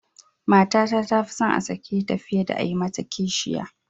Matata ta ce ta fi son a sake ta fiye da a yi mata kishiya.